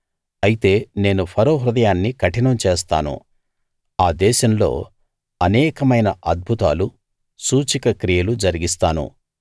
అయితే నేను ఫరో హృదయాన్ని కఠినం చేస్తాను ఆ దేశంలో అనేకమైన అద్భుతాలు సూచక క్రియలు జరిగిస్తాను